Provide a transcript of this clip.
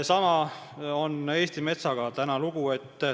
Sama lugu on Eesti metsaga.